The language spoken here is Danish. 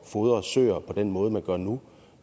fodre søer på den måde man gør nu